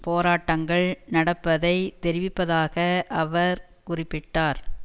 போராட்டங்கள் நடப்பதை தெரிவிப்பதாக அவர் குறிப்பிட்டார்